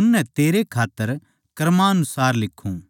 उननै तेरै खात्तर क्रमानुसार लिखूँ